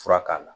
Fura k'a la